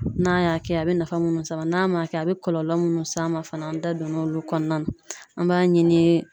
N'a y'a kɛ a be nafa munnu s'a ma ,n'a ma kɛ a be kɔlɔlɔ munnu s'a ma fana an da don na olu kɔnɔna na. An b'a ɲini